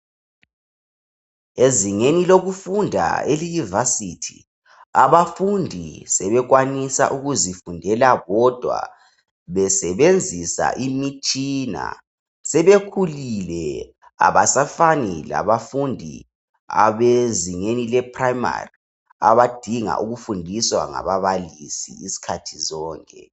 ezingeni lokufunda eliyivasithi abafundi sebekwanisa ukuzifundela bodwa besebenzisa imitshina sebekhulile abasafani labafundi ebezingani leprimary abadinga ukufundiswa ngababalisi izikhathi zonke.